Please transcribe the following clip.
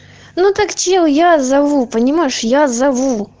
ну так чел я зову понимаешь я зову